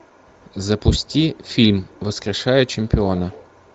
запусти фильм воскрешая чемпиона